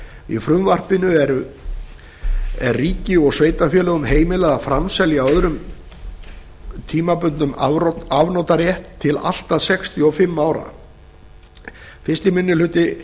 í frumvarpinu er ríki og sveitarfélögum heimilað að framselja öðrum tímabundinn afnotarétt til allt að sextíu og fimm ára fyrsti minni hluti